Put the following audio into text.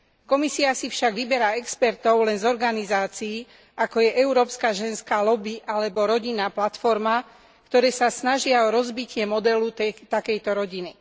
Komisia si však vyberá expertov len z organizácií, ako je Európska ženská lobby alebo Rodinná platforma ktoré sa snažia o rozbitie modelu takejto rodiny.